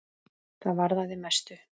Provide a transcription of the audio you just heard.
Það varðaði mestu.